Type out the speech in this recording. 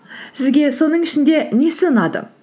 сізге соның ішінде несі ұнады